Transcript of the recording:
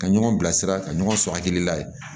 Ka ɲɔgɔn bilasira ka ɲɔgɔn sɔrɔ hakilila ye